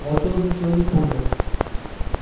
волчонок ничего не понял